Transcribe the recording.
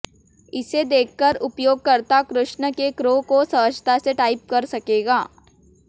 इसे देखकर उपयोगकर्ता कृष्ण के कृ को सहजता से टाइप कर सकेगा